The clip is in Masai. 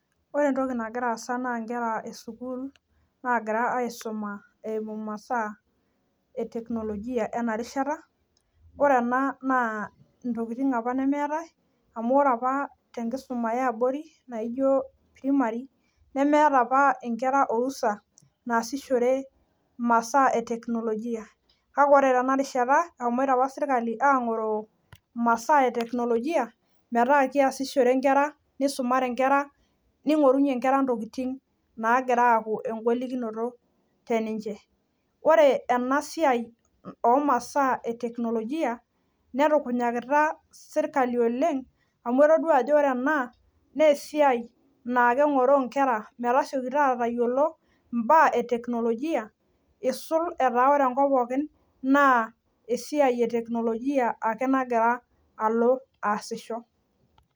Ore entoki nagiraasa naa inkera esukul naagira aisuma eimu masaa eteknolojia enarishata, ore ena naa intokitin apa nemeetai amu ore apa tenkisuma eabori naijo primary nemeeta apa inkera orusa naasishore masaa eteknolojia, kake ore tenarishata eshomoita apa  sirkali aang'oroo masaa eteknolojia metaa keasishore nkera , neisumare nkera neing'orunye nkera ntokitin naagiraaku engolikinoto teninche. Ore enasiai omasaa eteknolojia netupunyakita sirkali oleng' amu etoduaajo ore ena neesiai naakeeng'oroo nkera metasiokita atayiolo imbaa eteknolojia eisul etaa ore enkop pookin naa esiai eteknolojia ake nagira alo aasisho.